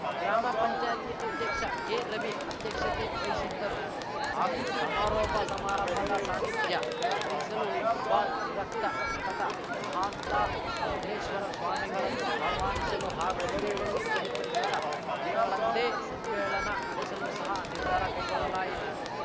ಗ್ರಾಮ ಪಂಚಾಯತಿ ಅಧ್ಯಕ್ಷ ಕೆರವಿ ಅಧ್ಯಕ್ಷತೆ ವಹಿಸಿದ್ದರು ಹಾಗೂ ಸಮಾರೋಪ ಸಮಾರಂಭದ ಸಾನಿಧ್ಯ ವಹಿಸಲು ಹೆಬ್ಬಾಳ್‌ ವಿರಕ್ತ ಮಠದ ಮಹಾಂತ ರುದ್ರೇಶ್ವರ ಸ್ವಾಮಿಗಳನ್ನು ಆಹ್ವಾನಿಸಲು ಹಾಗೂ ಶ್ರೀಗಳು ನಿಗದಿಪಡಿಸಿದ ದಿನಗಳಂದೇ ಸಮ್ಮೇಳನ ನಡೆಸಲು ಸಹ ನಿರ್ಧಾರ ಕೈಗೊಳ್ಳಲಾಯಿತು